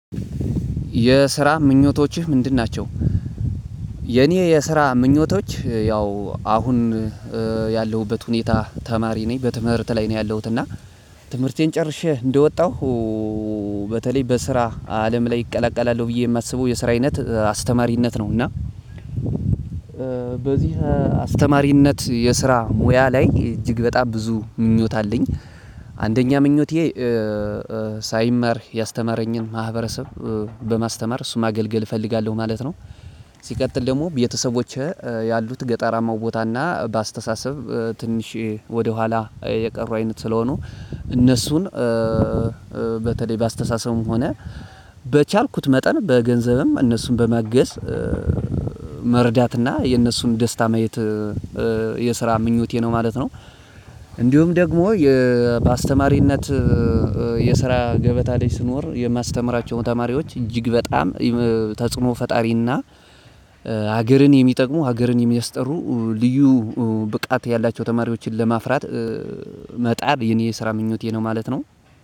የስራ ምኞቶችህ ምንድን ናቸው የኔ የስራ ምኞቶች ያው አሁን ያለሁበት ሁኔታ ተማሪ ነኝ በትምህርት ላይ ነው ያለሁት እና ትምህርቴን ጨርሼ እንደወጣሁ በተለይ በስራ አለም ላይ እቀላቀላለሁ ብዬ የማስበው የስራ አይነት አስተማሪነት ነው እና በዚህ አስተማሪነት የስራ ሙያ ላይ እጅግ በጣም ብዙ ምኞት አለኝ አንደኛ ምኞቴ ሳይማር ያስተማረኝን ማህበረሰብ በማስተማር እሱን ማገልገል እፈልጋለሁ ማለት ነው። ሲቀጥል ደግሞ ቤተሰቦቼ ያሉት ገጠራማው ቦታና በአስተሳሰብ ትንሽ ወደኋላ የቀሩ አይነት ስለሆኑ እነሱን በተለይ በአስተሳሰቡም ሆነ በቻልኩት መጠን በገንዘብም እነሱን በማገዝ መርዳትና የነሱን ደስታ ማየት የስራ ምኞቴ ነው ማለት ነው። እንዲሁም ደግም ባስተማሪነት የስራ ገበታ ላይ ስኖር የማስተምራቸዉን ተማሪዎች እጅግ በጣም ተጽዕኖ ፈጣሪና ሀገርን የሚጠቅሙ ሀገርን የሚያስጠሩ ልዩ ብቃት ያላቸው ተማሪዎችን ለማፍራት መጣር የኔ የስራ ምኞቴ ነው ማለት ነው።